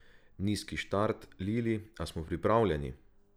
Nizki štart, Lili, a smo pripravljeni?